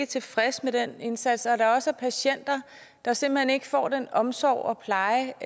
tilfredse med deres indsats og at der også er patienter der simpelt hen ikke får den omsorg og pleje